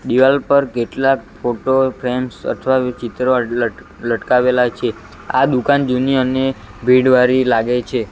દિવાલ પર કેટલાક ફોટો ફ્રે્મ્સ અથવા ચિત્રો લટ લટકાવેલા છે આ દુકાન જુની અને ભીડ વારી લાગે છે.